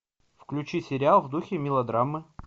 включи сериал в духе мелодрамы